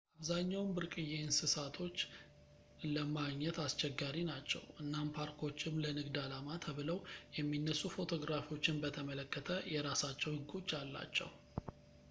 አብዛኛውን ብርቅዪ እንሰሳቶች ለማግኘትአስቸጋሪ ናቸው እናም ፓርኮችም ለንግድ አላማ ተብለው የሚነሱ ፎቶግራፎችን በተመለከተ የራሳቸው ህጎች አላቸው